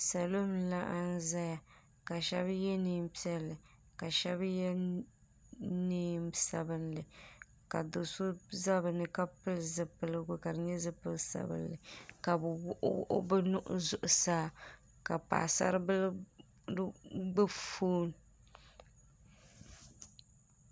Salɔ n laɣim ʒaya. ka shabi ye neen' piɛli ka shabi neen' sabinli. ka doso ʒa bɛni ka pili zipiligu kadi nyɛ zipili sabinli. ka bi wuɣi bɛ nuhi zuɣu saa. ka paɣa saribili gbubi fɔn.